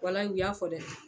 Walayi u y'a fɔ dɛ